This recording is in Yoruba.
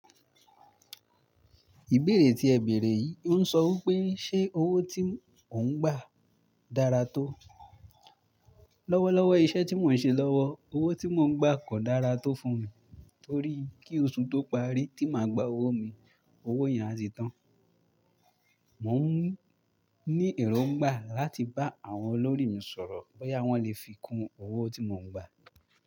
Ìbéèrè tí ẹ bèèrè yìí ń sọ wí pé, ṣe owó tí oun ń gbà dára tó? Lọ́wọ́lọ́wọ́ iṣẹ́ tí mò ń ṣe lọ́wọ́, owó tí mò ń gbà kò dára tó fún mi, torí kí oṣù tó parí tí màá gba owó mi, owó yẹn á ti tán. Moo ní èròńgbà láti bá àwọn olórí mi sọ̀rọ̀, bóyá wọ́n lèfi kún owó tó mò ń gbà.